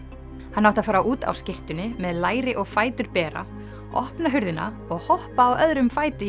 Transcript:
hann átti að fara út á skyrtunni með læri og fætur bera opna hurðina og hoppa á öðrum fæti í